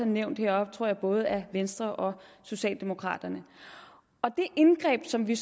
nævnt heroppefra både af venstre og socialdemokraterne det indgreb som vi